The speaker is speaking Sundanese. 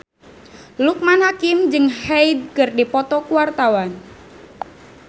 Loekman Hakim jeung Hyde keur dipoto ku wartawan